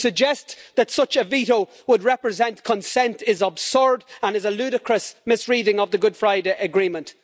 To suggest that such a veto would represent consent is absurd and is a ludicrous misreading of the Good Friday Agreement.